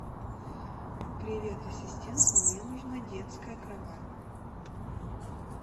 привет ассистент мне нужна детская кровать